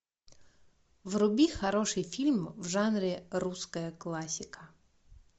вруби хороший фильм в жанре русская классика